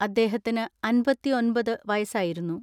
അദ്ദേഹത്തിന് അൻപത്തിഒൻപത് വയസ്സായിരു ന്നു.